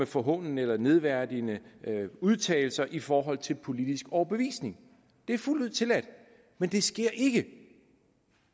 forhånende eller nedværdigende udtalelser i forhold til politisk overbevisning det er fuldt ud tilladt men det sker ikke